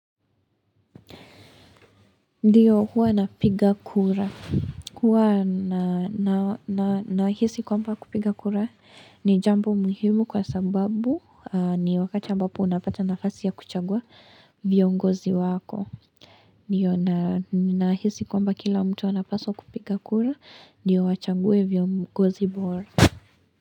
Ndiyo huwa napiga kura, huwa nahisi kwamba kupiga kura ni jambo muhimu kwa sababu ni wakati ambapo unapata nafasi ya kuchagua viongozi wako. Ndiyo nahisi kwamba kila mtu anapaswa kupiga kura, ndiyo wachague viongozi bora.